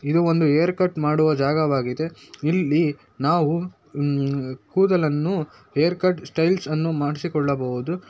ಇದು ಒಂದು hair cut ಮಾಡುವ ಜಾಗವಾಗಿದೆ ಇಲ್ಲಿ ನಾವು ಕೂದಲನ್ನು ಹೇರ್ ಕಟ್ ಸ್ಟೈಲ್ಸ್ ಅನ್ನು ಮಾಡಿಸಿಕೊಳ್ಳ ಬಹುದು.